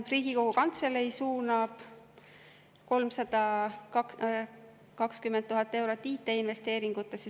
Riigikogu Kantselei suunab 320 000 eurot IT-investeeringutesse.